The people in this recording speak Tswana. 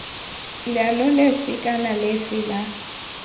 leano lefe kana lefe la